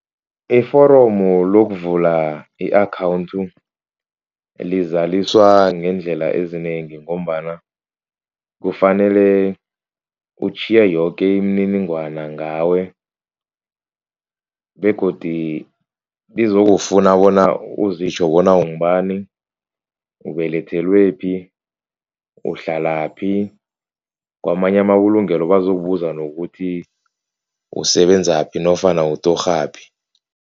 Iforomu lokuvula i -account lizaliswa ngeendlela ezinengi. Ngombana kufanele utjhiye yoke imininingwana ngawe begodu lizokufuna bona uzitjho bona ungubani ubelethelwephi, uhlalaphi. Kwamanye amabulungelo bazokubuza nokuthi usebenzaphi nofana utorhaphi.